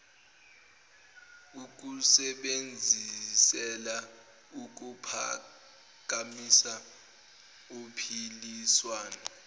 ukusebenzisela ukuphakamisa uphiliswano